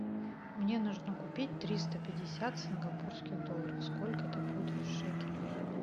мне нужно купить триста пятьдесят сингапурских долларов сколько это будет в шекелях